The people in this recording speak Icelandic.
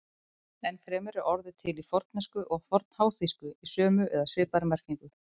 Enn fremur er orðið til í fornensku og fornháþýsku í sömu eða svipaðri merkingu.